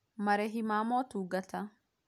Marĩhi ma motungata